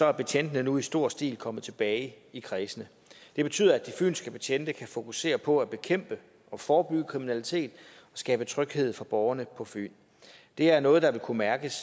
er betjentene nu i stor stil kommet tilbage i kredsene det betyder at de fynske betjente kan fokusere på at bekæmpe og forebygge kriminalitet og skabe tryghed for borgerne på fyn det er noget der vil kunne mærkes